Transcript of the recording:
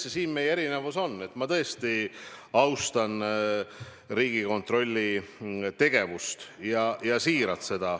Jah, selles meie erinevus on, et ma tõesti austan Riigikontrolli tegevust, siiralt.